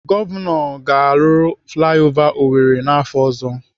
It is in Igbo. Gọvanọ ga-arụ flai ova Owerri n'afọ ọzọ.